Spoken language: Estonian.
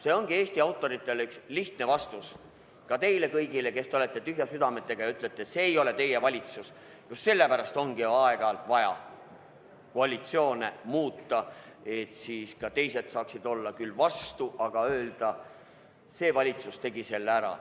See ongi lihtne vastus Eesti autoritele ja ka teile kõigile, kes te olete tühjade südametega ja ütlete, et see ei ole teie valitsus: just sellepärast ongi aeg-ajalt vaja koalitsioone muuta, et siis mõned saaksid küll vastu olla, aga saame öelda: see valitsus tegi selle ära.